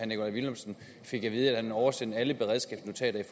nikolaj villumsen fik at vide at man havde oversendt alle beredskabsnotater